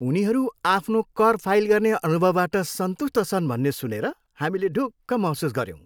उनीहरू आफ्नो कर फाइल गर्ने अनुभवबाट सन्तुष्ट छन् भन्ने सुनेर हामीले ढुक्क महसुस गऱ्यौँ।